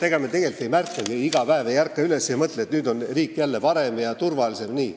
Ega me neid tegelikult ei märkagi, iga päev me ei ärka üles ega mõtle, et nüüd on riik jälle parem ja turvalisem ja nii.